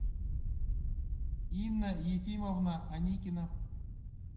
инна ефимовна аникина